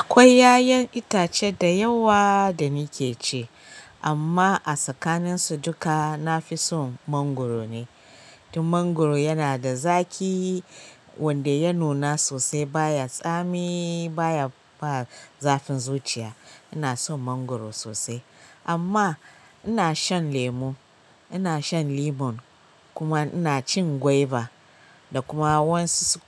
Akwai ƴaƴan itace da yawa da nake ci amma a tsakanin su duka nafi son mangwaro ne. Dan mangwaro yana da zaƙi wanda ya nuna sosai baya tsami baya ba zafin zuciya. Ina son mangwaro sosai amma ina shan lemu, ina shan lemon kuma ina cin gwaiba da kuma wasu